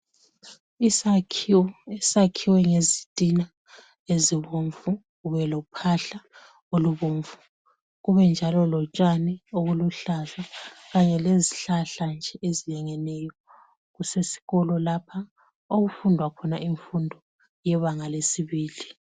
Isakhiwo esakhiwe ngezitina ezibomvu kube lophahla olubomvu kube njalo lotshani obuluhlaza kanye lezihlahla nje ezilingeneyo. Kusesikolo lapha okufundwa khona imfundo yebanga lesibili.